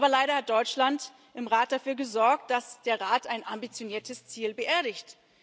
Aber leider hat Deutschland im Rat dafür gesorgt, dass der Rat ein ambitioniertes Ziel beerdigt.